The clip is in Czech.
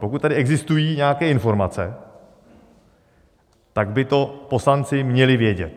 Pokud tady existují nějaké informace, tak by to poslanci měli vědět.